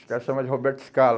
Os cara chamava de Roberto Scala.